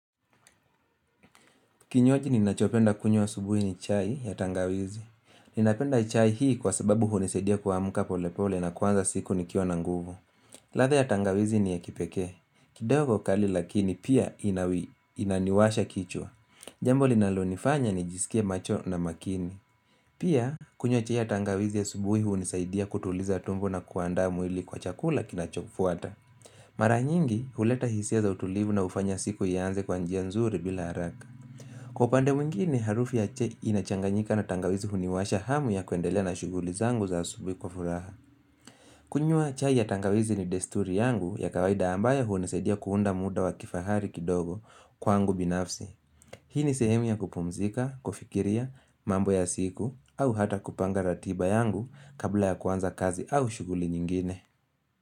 Kinyaji ninachopenda kunywa asubuhi ni chai ya tangawizi. Ninapenda chai hii kwa sababu hunisadia kuamka pole pole na kuanza siku nikiwa na nguvu. Ladha ya tangawizi ni ya kipekee. Kidogo kali lakini pia inaniwasha kichwa. Jambo linalonifanya nijiskie macho na makini. Pia kunywa cha ya tangawizi asubuhi hunisaidia kutuliza tumbo na kuandaa mwili kwa chakula kinachofuata. Mara nyingi huleta hisia za utulivu na ufanya siku ya anze kwa njia nzuri bila haraka. Kwa upande mingini, harufi ya chai inachanganyika na tangawizi huniwasha hamu ya kuendelea na shughuli zangu za asubihi kwa furaha. Kunywa chai ya tangawizi ni desturi yangu ya kawaida ambayo hunisaidia kuunda muda wa kifahari kidogo kwaangu binafsi. Hii ni sehemi ya kupumzika, kufikiria, mambo ya siku, au hata kupanga ratiba yangu kabla ya kuanza kazi au shughuli nyingine.